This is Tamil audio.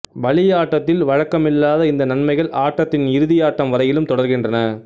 பலியாட்டத்தில் வழக்கமில்லாத இந்த நன்மைகள் ஆட்டத்தின் இறுதியாட்டம் வரையிலும் தொடர்கின்றன